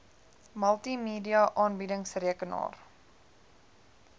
multimedia aanbiedings rekenaar